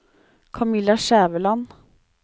Kamilla Skjæveland